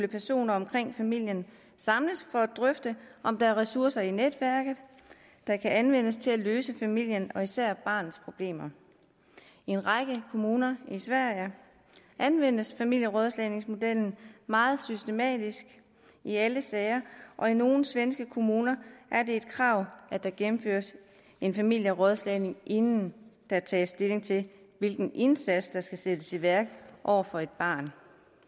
personer omkring familien samles for at drøfte om der er ressourcer i netværket der kan anvendes til at løse familiens og især barnets problemer i en række kommuner i sverige anvendes familierådslagningsmodellen meget systematisk i alle sager og i nogle svenske kommuner er det et krav at der gennemføres en familierådslagning inden der tages stilling til hvilken indsats der skal sættes i værk over for et barn